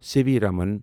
C V Raman